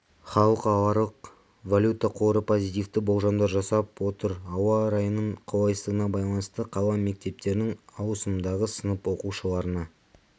халықаралық валюта қоры позитивті болжамдар жасап отыр ауа райының қолайсыздығына байланысты қала мектептерінің ауысымдағы сынып оқушыларына